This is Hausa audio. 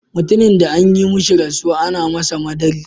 Mutumin de an yi mishi rasuwa, ana masa "madarik".